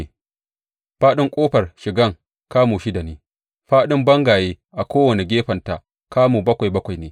Faɗin ƙofar shigan kamu shida ne, fāɗin bangayen a kowane gefenta kamu bakwai bakwai ne.